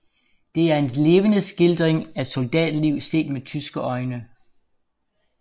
Det er en levende skildring af soldatliv set med tyske øjne